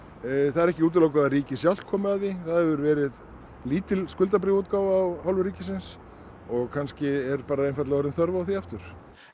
það er ekki útilokað að ríkið sjálft komi að því það hefur verið lítil skuldabréfaútgáfa af hálfu ríkisins og kannski er bara orðin þörf á því aftur